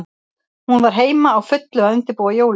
Hún var heima, á fullu að undirbúa jólin.